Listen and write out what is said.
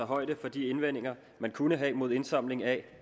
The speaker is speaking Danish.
højde for de indvendinger man kunne have mod indsamling af